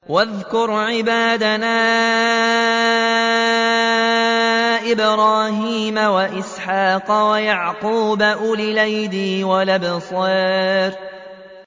وَاذْكُرْ عِبَادَنَا إِبْرَاهِيمَ وَإِسْحَاقَ وَيَعْقُوبَ أُولِي الْأَيْدِي وَالْأَبْصَارِ